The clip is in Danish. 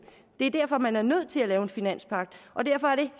det er derfor at man er nødt til at lave en finanspagt og derfor er det